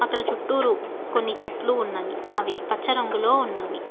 ఇక్కడ చుట్టూరు కొన్ని చెట్లు ఉన్నవి అవి పచ్చ రంగులో ఉన్నవి.